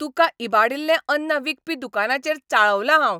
तुका इबाडिल्लें अन्न विकपी दुकानाचेर चाळवलां हांव.